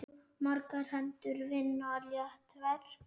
Margar hendur vinna létt verk.